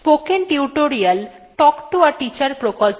এইখানেই এই টির সমাপ্তি হল